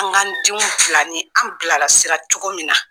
An k'n denw bilan ni an bilalasira la cogo min na.